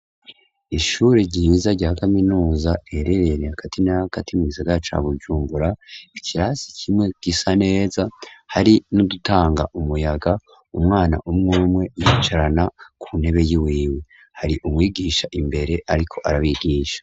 Ishure ryiza rya kaminuza riherereye hagati na hagati mugisagara ca Bujumbura, ikirasi kimwe gisa neza hari n'dutanga umuyaga, umwana umw'umwe yicarana ku ntebe y'iwiwe. Har' umwigisha imbere ariko arabigisha.